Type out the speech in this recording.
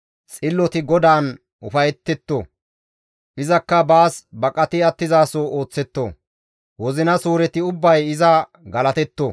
Xilloti GODAAN ufayetetto; izakka baas baqati attizaso ooththetto; wozina suureti ubbay iza galatetto.